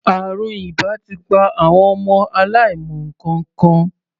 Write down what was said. Àrùn ìbà ti pa àwọn ọmọ aláìmọ nǹkankan.